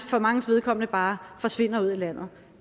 for manges vedkommende bare forsvinde ud i landet